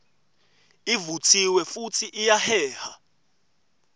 ivutsiwe futsi iyaheha